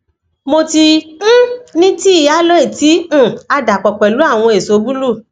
mo ti um ni tii aloe ti um a dapọ pẹlu awọn eso buluu